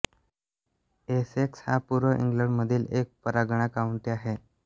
Essex हा पूर्व इंग्लंडमधील एक परगणा काउंटी आहे